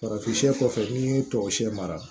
Farafin kɔfɛ n'i y'i tɔɔrɔ siyɛn mara